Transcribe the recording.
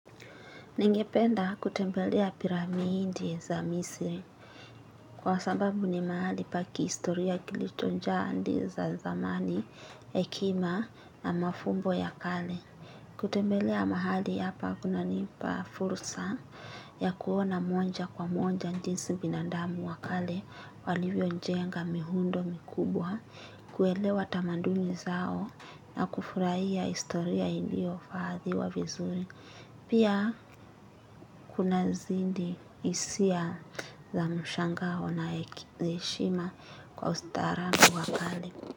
Ningependa kutembelea piramidi za misri kwa sababu ni mahali pa kihistoria kilichojaa hadi za zamani hekima na mafumbo ya kale. Kutembelea mahali hapa kunanipa fursa ya kuona moja kwa moja jinsi binadamu wa kale walivyo jenga miundo mikubwa kuelewa tamadumi zao na kufurahia historia iliyo hifadhiwa vizuri. Pia kunazidi hisia za mshangao na heshima kwa ustaarabu wa kale.